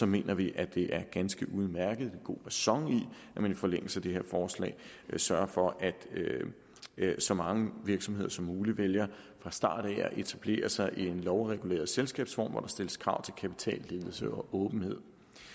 mener vi at det er ganske udmærket god ræson i at man i forlængelse af det her forslag sørger for at så mange virksomheder som muligt vælger fra starten at etablere sig i en lovreguleret selskabsform hvor der stilles krav til kapitalledelse og åbenhed